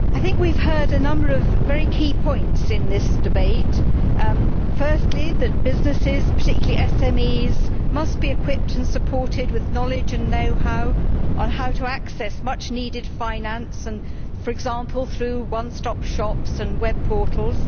Mr President, we have heard a number of very key points in this debate firstly, that businesses, particularly SMEs, must be equipped and supported with knowledge and know how on how to access much needed finance, for example through one stop shops and web portals